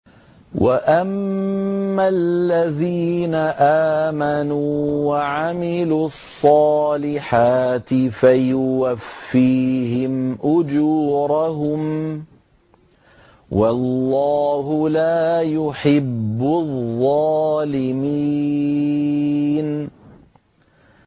وَأَمَّا الَّذِينَ آمَنُوا وَعَمِلُوا الصَّالِحَاتِ فَيُوَفِّيهِمْ أُجُورَهُمْ ۗ وَاللَّهُ لَا يُحِبُّ الظَّالِمِينَ